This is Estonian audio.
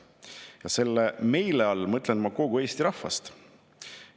Ja selle "meile" all mõtlen ma kogu Eesti rahvast.